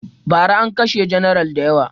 Ba ra an kashe janar da yawa